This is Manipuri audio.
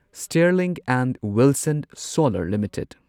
Sterling and Wilson solar limited